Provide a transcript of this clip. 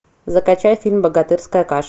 закачай фильм богатырская каша